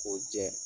K'o jɛ